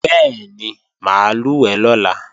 Bẹ́ẹ̀ni, mà á lùwẹ̀ lọ́la